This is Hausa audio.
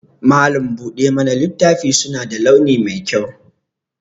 Malam buɗe mana littafi suna da launi mai kyau